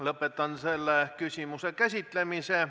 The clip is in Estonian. Lõpetan selle küsimuse käsitlemise.